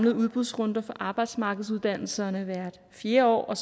arbejdsmarkedsuddannelserne i hvert fjerde år og